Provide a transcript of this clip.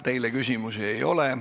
Teile küsimusi ei ole.